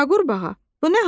A qurbğa, bu nə haldır?